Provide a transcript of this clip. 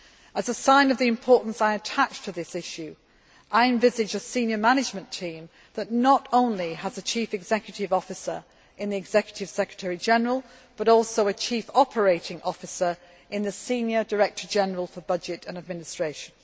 As a sign of the importance I attach to this issue, I envisage a senior management team that not only has a chief executive officer in the Executive Secretary General but also a chief operating officer in the senior Director General for Budget and Administration.